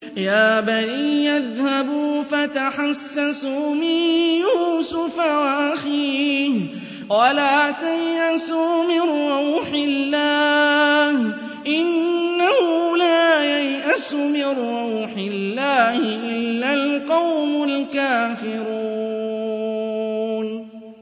يَا بَنِيَّ اذْهَبُوا فَتَحَسَّسُوا مِن يُوسُفَ وَأَخِيهِ وَلَا تَيْأَسُوا مِن رَّوْحِ اللَّهِ ۖ إِنَّهُ لَا يَيْأَسُ مِن رَّوْحِ اللَّهِ إِلَّا الْقَوْمُ الْكَافِرُونَ